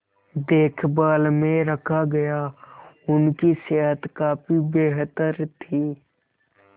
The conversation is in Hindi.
देखभाल में रखा गया उनकी सेहत काफी बेहतर थी